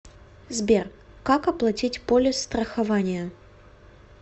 сбер как оплатить полис страхования